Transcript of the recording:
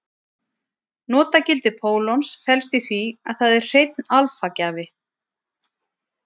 Notagildi pólons felst í því að það er hreinn alfa-gjafi.